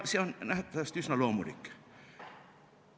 See on nähtavasti üsna loomulik.